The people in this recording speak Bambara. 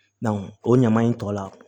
o ɲaman in tɔ la